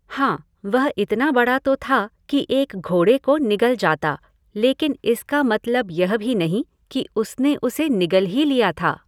हाँ, वह इतना बड़ा तो था कि एक घोड़े को निगल जाता, लेकिन इसका मतलब यह भी नहीं कि उसने उसे निगल ही लिया था!